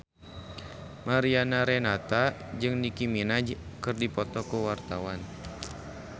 Mariana Renata jeung Nicky Minaj keur dipoto ku wartawan